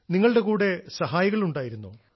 നിങ്ങളുടെ കൂടെ സഹായികൾ ഉണ്ടായിരുന്നോ